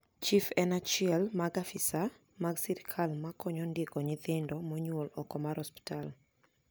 chif en achiel mag afisa mag sirkal ma konyo ndiko nyothindo monyuol ok mar osiptal